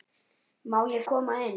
Má ég koma inn?